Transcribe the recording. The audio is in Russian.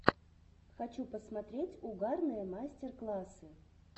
хочу посмотреть угарные мастер классы